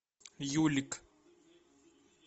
юлик